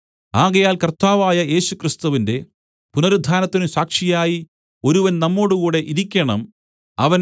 ആകയാൽ കര്‍ത്താവായ യേശുക്രിസ്തുവിന്റെ പുനരുത്ഥാനത്തിന് സാക്ഷിയായി ഒരുവൻ നമ്മോടുകൂടെ ഇരിക്കേണം അവൻ